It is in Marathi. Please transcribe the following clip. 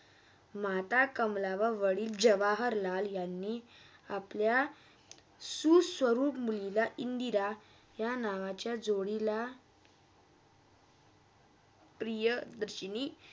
माता कमला व वाडिल जवाहरलाल यांनी अपल्या सुस्वरूप मुलीला इंदिरा यह नावाच्या जोडिला प्रियदर्शिनी.